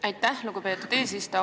Aitäh, lugupeetud eesistuja!